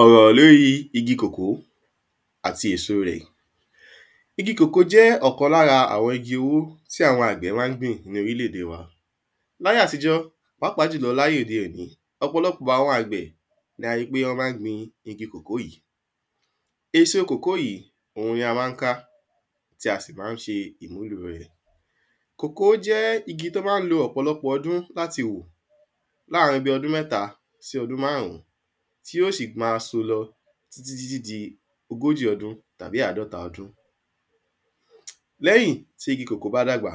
ọ̀rọ̀ lóri igi kòkó àti èso rẹ̀. igi kòkó jẹ́ ọ̀kan lára àwọn igi owó tí àwọn àgbẹ̀ ma ń gbìn ní orílẹ̀-ède wa láyé àtijọ́, pàápàá jùlọ láye òde òní ọ̀pọ̀lọpọ̀ àwọn àgbẹ̀ la ríi pé wọ́n ma ń gbin igi kòkó yìí, èso kòkó yìí ni a ma ń ká, tí a sì ma ń ṣe ìmúlo rẹ̀ igi kòkó jẹ́ igi tó ma ń lo ọ̀pọ̀lọpọ̀ ọdún láti wù, láàrín bíi ọdún mẹ́ta sí ọdún máàrún tí ó sì ma ń so lọ títí tí di ogójì ọdún tàbí àádọ́ta ọdún lẹ́yìn tí igi kòkó bá dàgbà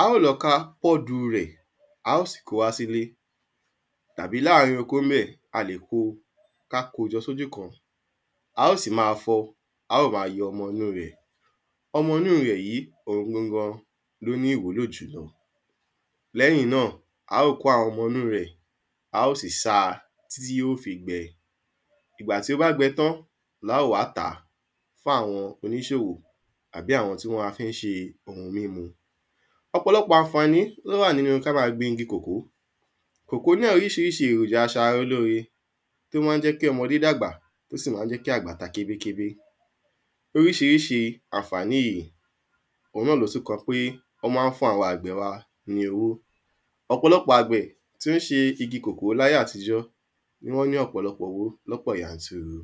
a óò lọ ká pọ́ọ̀du rẹ̀, a óò sì kóo wá sílé, tàbí láàrín oko ńbẹ̀ a lè kó, ká kó o jọ sí ojú kan, a óò sì máa fọ́ ọ, a óò ma yọ ọmọ inú rẹ̀ ọmọ inú rẹ̀ yìí gangan ni ó ní ìwúlò jú, lẹ́yìn náà, a óò kó àwọn ọmọ inú rẹ̀,a óò sì sa títí tí yóò fi gbẹ ìgbà tí ó bá gbẹ tán la óò wá tàá fún àwọn oníṣòwò tàbí àwọn tó ma ń fi ṣe oun mímu ọ̀pọ̀lọpọ̀ àǹfàní tó wà nínu tó wà níbi ká máa gbin igi kòkó, kòkó náà oríṣiríṣi èròjà aṣara lóore ní tó ma ń jẹ́ kí ọmọdé dàgbà tó sì ma ń jẹ́ kí àgbà ta kébékébé orísirísi àǹfàní yìí òun náà ni ó kan pé ó ma ń fún àwọn àgbẹ wa ní owo ọ̀pọ̀lọpọ̀ àgbẹ̀ tí wọ́n ṣe iṣẹ́ oko kòkó láyé àtijọ́ ni wọ́n ní ọ̀pọ̀lọpọ̀ owó lọ́pọ̀ yanturu